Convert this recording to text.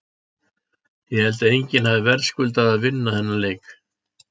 Ég held að enginn hafi verðskuldað að vinna þennan leik.